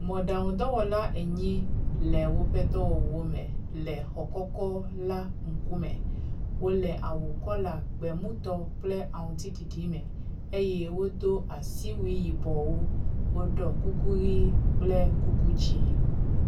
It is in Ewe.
Mɔɖaŋu dɔwɔla enyi le woƒe dɔwɔwɔ me le xɔ kɔkɔ la ŋkume. Wole awu kɔla gbemutɔ kple aŋutsiɖiɖi me eye wodo asiwui yibɔwo. Woɖɔ kuku ʋi kple kuku dzɛ̃.